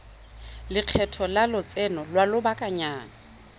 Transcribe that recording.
lekgetho la lotseno lwa lobakanyana